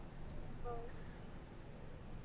.